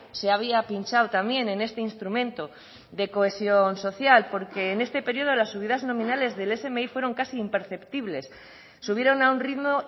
se había pinchado también en este instrumento de cohesión social porque en este periodo las subidas nominales del smi fueron casi imperceptibles subieron a un ritmo